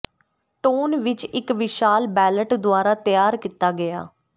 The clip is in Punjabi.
ਟੋਨ ਵਿਚ ਇਕ ਵਿਸ਼ਾਲ ਬੈਲਟ ਦੁਆਰਾ ਤਿਆਰ ਕੀਤਾ ਗਿਆ